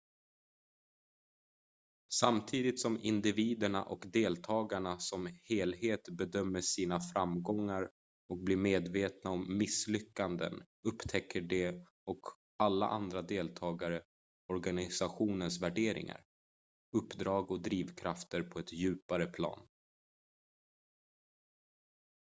samtidigt som individerna och deltagarna som helhet bedömer sina framgångar och blir medvetna om misslyckanden upptäcker de och alla andra deltagare organisationens värderingar uppdrag och drivkrafter på ett djupare plan